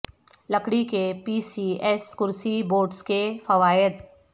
لکڑی کے P C S کرسی بورڈز کے فوائد